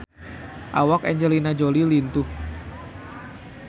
Awak Angelina Jolie lintuh